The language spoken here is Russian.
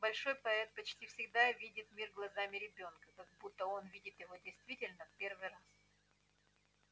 большой поэт почти всегда видит мир глазами ребёнка как будто он видит его действительно в первый раз